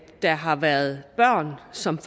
der har været børn som